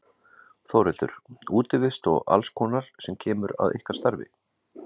Þórhildur: Útivist og alls konar sem kemur að ykkar starfi?